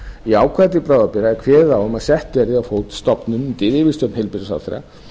í ákvæði til bráðabirgða er kveðið á um að sett verði á fót stofnun undir yfirstjórn heilbrigðisráðherra